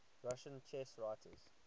russian chess writers